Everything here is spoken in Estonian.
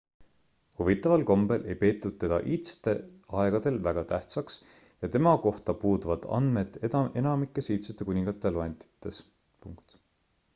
huvitaval kombel ei peetud teda iidsetel aegadel väga tähtsaks ja tema kohta puuduvad andmed enamikes iidsete kuningate loendites